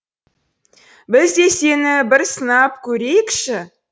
біз де сені бір сынап көрейікші